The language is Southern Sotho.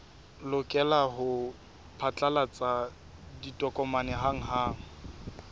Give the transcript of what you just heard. lokela ho phatlalatsa ditokomane hanghang